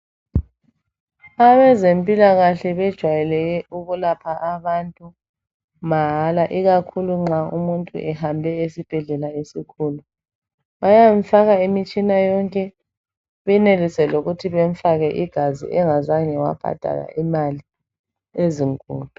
Abezempilakahle bejwayeleke ukulapha abantu mahala ikakhulu nxa umuntu ehambe esibhedlela esikhulu bayamfaka imitshina yonke benelise lokuthi bemfake igazi engazange wabhadala imali ezinkulu.